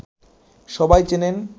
সবাই চেনেন